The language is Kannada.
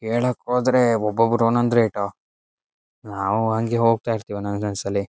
ಹೇಳ್ಕೋದ್ರೆ ಒಬ್ ಒಬ್ಬ್ರು ಒಂದು ರೇಟ್ ನಾವು ಹಂಗೆ ಹೋಗ್ತಾ ಇರತ್ತಿವಿ ನಾಕ್ ನಾಕ್ ಸಲಿ.--